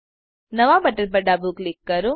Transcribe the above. નવા બટન પર ડાબું ક્લિક કરો